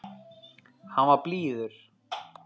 Hann var blíður.